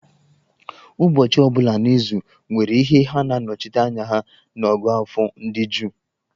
Ụbọchị ọ bụla n'izu nwere ihe ha na-anọchite anya ha n'ọ̀gụ́àfọ̀ ndị Juu.